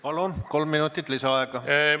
Palun, kolm minutit lisaaega!